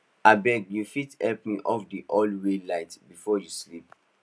abeg you fit help me off the hallway light before you sleep